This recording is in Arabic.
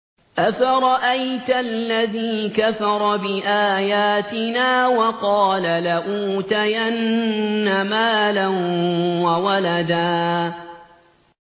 أَفَرَأَيْتَ الَّذِي كَفَرَ بِآيَاتِنَا وَقَالَ لَأُوتَيَنَّ مَالًا وَوَلَدًا